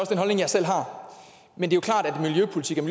den holdning jeg selv har men det